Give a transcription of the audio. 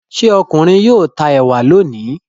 Ṣé ọkùnrin yóò ta ẹ̀wà lónìí?